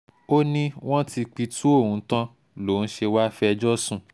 ó ní wọ́n ti pitú ohun tán lòún ṣe wàá fẹjọ́ sùn